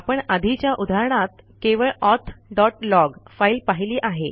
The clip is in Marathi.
आपण आधीच्या उदाहरणात केवळ ऑथ डॉट लॉग फाईल पाहिली आहे